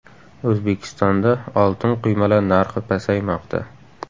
O‘zbekistonda oltin quymalar narxi pasaymoqda.